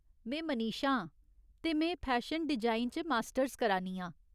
में मनीषा आं, ते में फैशन डिजाइन च मास्टर्स करा नी आं।